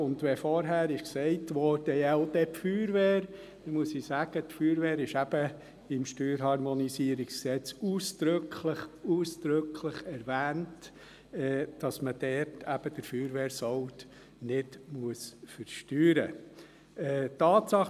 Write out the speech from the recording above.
Wenn man wie vorhin gesagt hat, «Ja und dann die Feuerwehr», muss ich dazu sagen, dass die Feuerwehr im StHG ausdrücklich, ausdrücklich dahingehend erwähnt wird, dass man den Feuerwehrsold nicht versteuern muss.